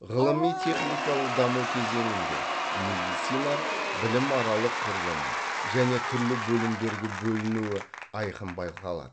ғылыми техникалық даму кезеңінде медицина білім аралық құрылымы және түрлі бөлімдерге бөліну айқын байқалады